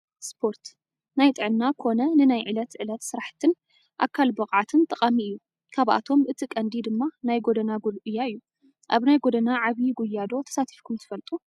ስፖርት፣ ናይ ጥዕና ኮነ ንናይ ዕለት ዕለት ስራሕቲን ኣካል ብቕዓትን ጠቓሚ አዩ፡፡ ካብኣቶም እቲ ቀንዲ ድማ ናይ ጎደና ጉያ እዩ፡፡ ኣብ ናይ ጎደና ዓብዬ ጉያ ዶ ተሳቲፍኩም ትፈልጡ?